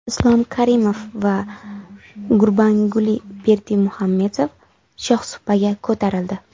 Islom Karimov va Gurbanguli Berdimuhamedov shohsupaga ko‘tarildi.